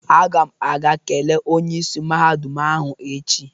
Agam aga kelee Onye isi mahadum ahụ echi.